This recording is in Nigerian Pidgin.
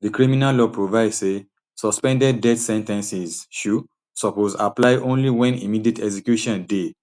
di criminal law provide say suspended death sen ten ces um suppose apply only wen immediate execution dey